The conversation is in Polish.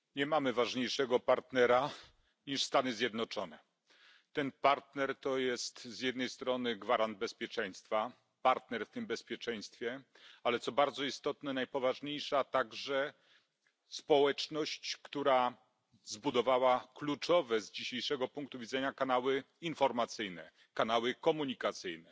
Pani Przewodnicząca! Nie mamy ważniejszego partnera niż Stany Zjednoczone. Ten partner to jest z jednej strony gwarant bezpieczeństwa partner w tym bezpieczeństwie ale co bardzo istotne najpoważniejsza także społeczność, która zbudowała kluczowe z dzisiejszego punktu widzenia kanały informacyjne, kanały komunikacyjne.